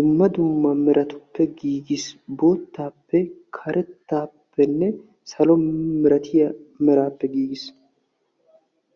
dumma dumma meratuppe giigis. Boottaappe karettaappenne salo milatiya meraappe giigis.